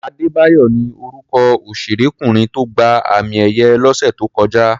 Adébáyọ̀ ni orúkọ òṣèrékùnrin tó gba àmì-ẹ̀yẹ lọ́sẹ̀ tó kọjá.